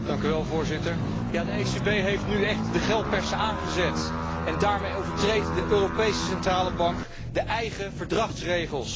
Voorzitter, de ECB heeft nu echt de geldpersen aangezet, en daarmee overtreedt de Europese Centrale Bank de eigen Verdragsregels.